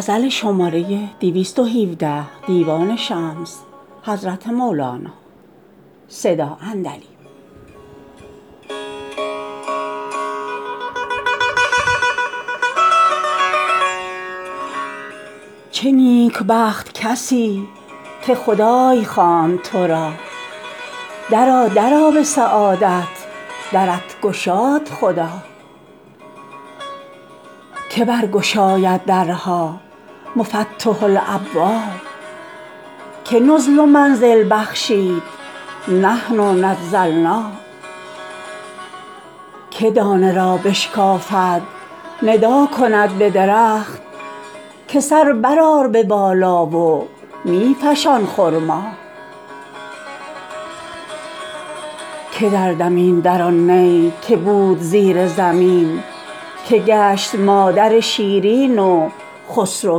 چه نیکبخت کسی که خدای خواند تو را درآ درآ به سعادت درت گشاد خدا که برگشاید درها مفتح الابواب که نزل و منزل بخشید نحن نزلنا که دانه را بشکافد ندا کند به درخت که سر برآر به بالا و می فشان خرما که دردمید در آن نی که بود زیر زمین که گشت مادر شیرین و خسرو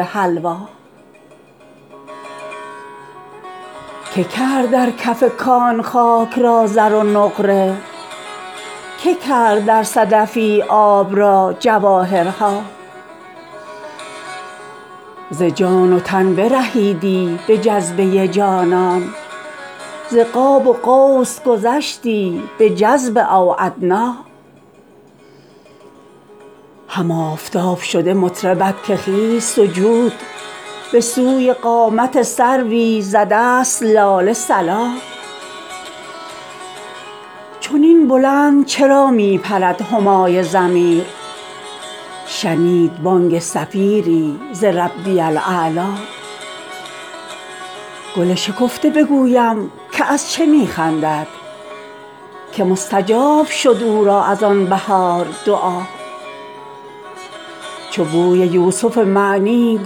حلوا کی کرد در کف کان خاک را زر و نقره کی کرد در صدفی آب را جواهرها ز جان و تن برهیدی به جذبه جانان ز قاب و قوس گذشتی به جذب او ادنی هم آفتاب شده مطربت که خیز سجود به سوی قامت سروی ز دست لاله صلا چنین بلند چرا می پرد همای ضمیر شنید بانگ صفیری ز ربی الاعلی گل شکفته بگویم که از چه می خندد که مستجاب شد او را از آن بهار دعا چو بوی یوسف معنی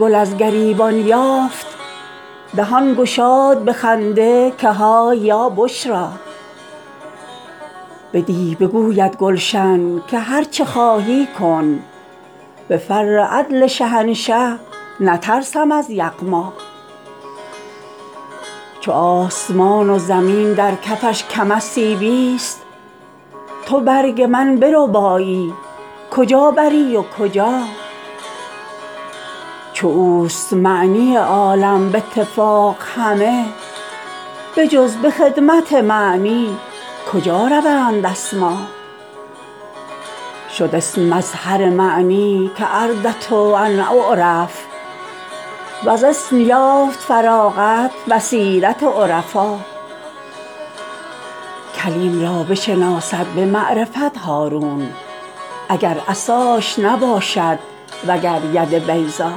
گل از گریبان یافت دهان گشاد به خنده که های یا بشرا به دی بگوید گلشن که هر چه خواهی کن به فر عدل شهنشه نترسم از یغما چو آسمان و زمین در کفش کم از سیبی ست تو برگ من بربایی کجا بری و کجا چو اوست معنی عالم به اتفاق همه بجز به خدمت معنی کجا روند اسما شد اسم مظهر معنی کاردت ان اعرف وز اسم یافت فراغت بصیرت عرفا کلیم را بشناسد به معرفت هارون اگر عصاش نباشد وگر ید بیضا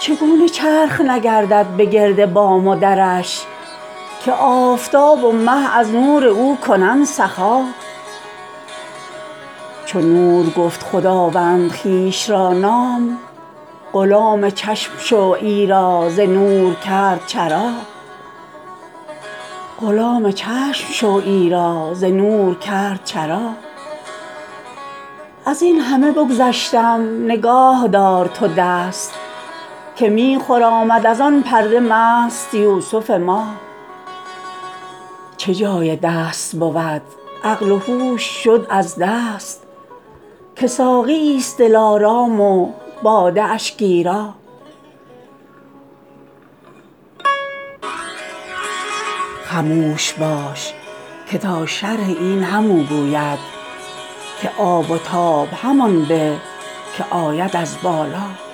چگونه چرخ نگردد بگرد بام و درش که آفتاب و مه از نور او کنند سخا چو نور گفت خداوند خویشتن را نام غلام چشم شو ایرا ز نور کرد چرا از این همه بگذشتم نگاه دار تو دست که می خرامد از آن پرده مست یوسف ما چه جای دست بود عقل و هوش شد از دست که ساقی ست دلارام و باده اش گیرا خموش باش که تا شرح این همو گوید که آب و تاب همان به که آید از بالا